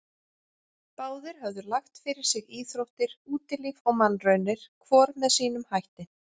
Báðir höfðu lagt fyrir sig íþróttir, útilíf og mannraunir, hvor með sínum hætti.